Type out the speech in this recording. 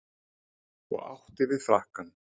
Og átti við frakkann.